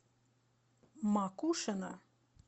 макушино